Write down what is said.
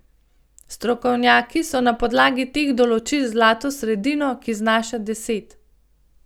Strokovnjaki so na podlagi teh določili zlato sredino, ki znaša deset.